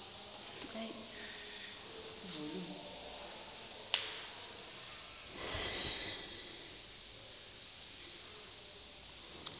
ephantsi kwakho xa